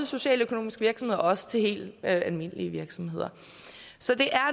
socialøkonomiske virksomheder men også til helt almindelige virksomheder så det er